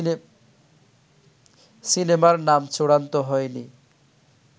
সিনেমার নাম চূড়ান্ত হয়নি